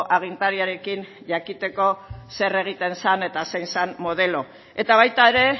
agintariarekin jakiteko zer egiten zen eta zein zen modelo eta baita ere